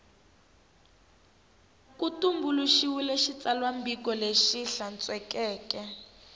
ku tumbuluxiwile xitsalwambiko lexi hlantswekeke